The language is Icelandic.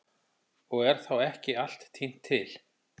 Og er þá ekki allt tínt til.